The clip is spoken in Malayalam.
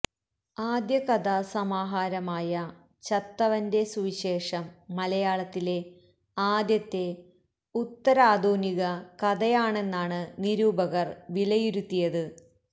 ആദ്യ കഥാ സമാഹാരമായ ചത്തവന്റെ സുവിശേഷം മലയാളത്തിലെ ആദ്യത്തെ ഉത്തരാധുനിക കഥയാണെന്നാണ് നിരൂപകര് വിലയിരുത്തിയത്